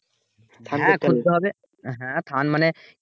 হ্যাঁ মানে